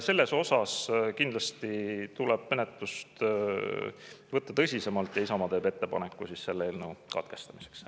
Selles osas kindlasti tuleb menetlust võtta tõsisemalt ja Isamaa teeb ettepaneku selle eelnõu katkestamiseks.